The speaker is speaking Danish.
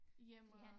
Hjemme